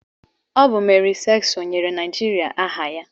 Ọ bụ Mary Slessọ nyere Naijiria aha ya.